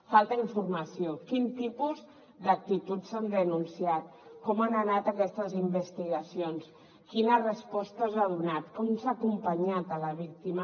falta informació quin tipus d’actituds s’han denunciat com han anat aquestes investigacions quines respostes s’han donat com s’ha acompanyat la víctima